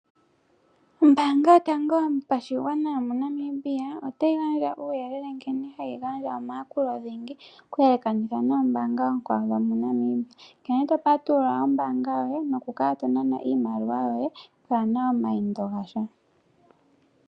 Ombaanga yotango yopashigwana yomoNamibia otayi gandja uuyelele nkene hayi gandja omayakulo dhingi okuyelekanitha noombaanga oonkwawo dhomoNamibia, nkene topatulula ombaanga yoye nokukala tonana iimaliwa yoye pwaana omayindo gatya.